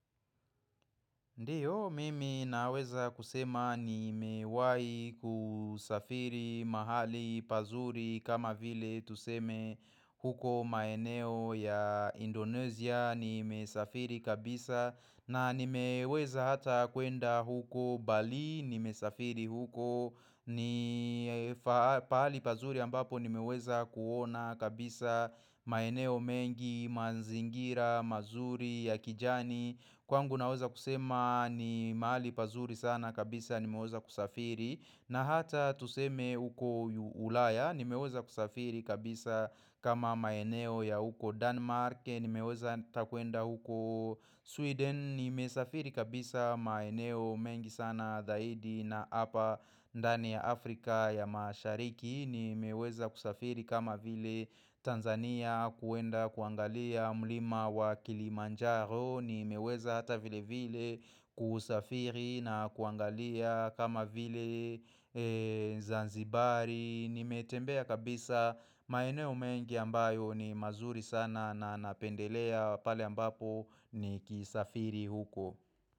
Ndiyo mimi naweza kusema nimewai kusafiri mahali pazuri kama vile tuseme huko maeneo ya Indonesia nimesafiri kabisa na nimeweza hata kuenda huko Balii nimesafiri huko ni pahali pazuri ambapo nimeweza kuona kabisa maeneo mengi manzingira mazuri ya kijani Kwangu naweza kusema ni mahali pazuri sana kabisa nimeweza kusafiri na hata tuseme huko ulaya nimeweza kusafiri kabisa kama maeneo ya huko Denmark nimeweza ata kuenda huko Sweden nimesafiri kabisa maeneo mengi sana dhaidi na apa ndani ya Afrika ya mashariki Nimeweza kusafiri kama vile Tanzania kuenda kuangalia mlima wa Kilimanjaro. Ni meweza hata vile vile kusafiri na kuangalia kama vile Zanzibari. Nimetembea kabisa maeneo mengi ambayo ni mazuri sana na napendelea pale ambapo nikisafiri huko.